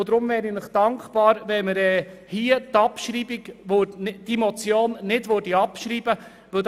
Deshalb wäre ich Ihnen dankbar, wenn Sie diese Motion nicht abschreiben würden.